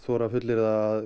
fullyrði að